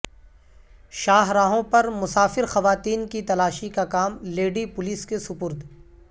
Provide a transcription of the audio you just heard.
شاہراہوں پر مسافر خواتین کی تلاشی کا کام لیڈی پولیس کے سپرد